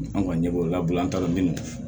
An kɔni ɲɛ b'o la an ta la minnu